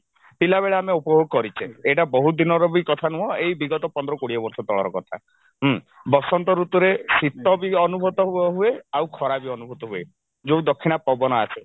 ପିଲାବେଳେ ଆମେ ଉପଭୋଗ କରିଛେ ଏଇଟା ବହୁତ ଦିନର ବି କଥା ନୁହଁ ଏଇ ବିଗତ ପନ୍ଦର କୋଡିଏ ବର୍ଷ ତଳର କଥା ହୁଁ ବସନ୍ତ ଋତୁରେ ଶିତ ବି ଅନୁଭୂତ ହୁଏ ଆଉ ଖରା ବି ଅନୁଭୂତ ହୁଏ ଯଉ ଦକ୍ଷିଣା ପବନ ଆସେ